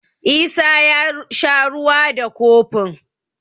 Isa ya sha ruwa da kofin.